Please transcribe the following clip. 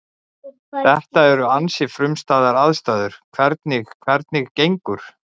Þetta eru ansi frumstæðar aðstæður, hvernig, hvernig, gengur?